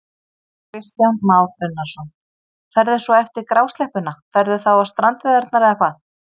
Kristján Már Unnarsson: Ferðu svo eftir grásleppuna, ferðu þá á strandveiðarnar eða hvað?